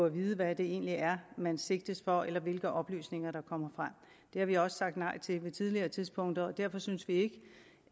at vide hvad det egentlig er man sigtes for eller hvilke oplysninger der kommer frem det har vi også sagt nej til på tidligere tidspunkter og derfor synes vi ikke